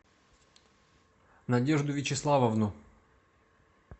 надежду вячеславовну